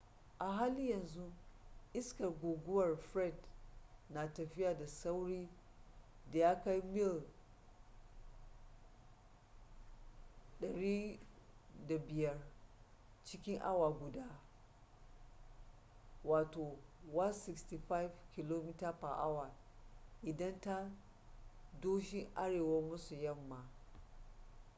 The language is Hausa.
a halin yanzu iskar guguwar fred na tafiya da saurin da ya kai mil 105 cikin awa guda 165 km/h inda ta doshi arewa-maso-yamma